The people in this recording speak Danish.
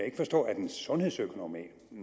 ikke forstå at en sundhedsøkonom